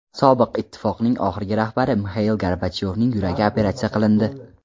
Sobiq ittifoqning oxirgi rahbari Mixail Gorbachyovning yuragi operatsiya qilindi.